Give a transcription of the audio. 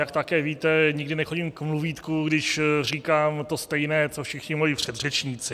Jak také víte, nikdy nechodím k mluvítku, když říkám to stejné, co všichni moji předřečníci.